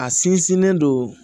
A sinsinnen don